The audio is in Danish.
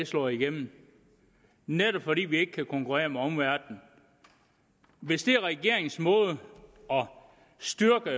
slår igennem fordi vi ikke kan konkurrere med omverdenen hvis regeringens måde at styrke